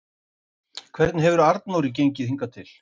Hvernig hefur Arnóri gengið hingað til?